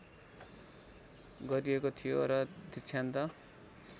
गरिएको थियो र दिक्षान्त